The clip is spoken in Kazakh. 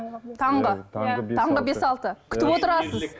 таңғы таңғы бес алты күтіп отырасыз